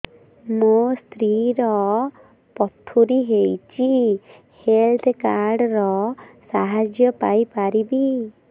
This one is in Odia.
ମୋ ସ୍ତ୍ରୀ ର ପଥୁରୀ ହେଇଚି ହେଲ୍ଥ କାର୍ଡ ର ସାହାଯ୍ୟ ପାଇପାରିବି